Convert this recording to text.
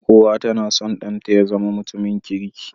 Uwa tAna son dan ta yazama mutum kirki